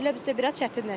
Belə bizdə biraz çətinləşib.